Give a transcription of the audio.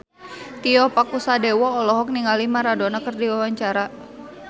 Tio Pakusadewo olohok ningali Maradona keur diwawancara